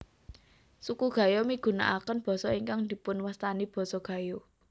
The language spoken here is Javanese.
Suku Gayo migunakaken basa ingkang dipunwastani basa Gayo